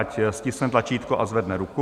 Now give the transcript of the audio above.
Ať stiskne tlačítko a zvedne ruku.